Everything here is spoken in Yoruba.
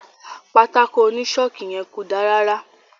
Pátákó oni ṣọọki yẹn ko dá rárá.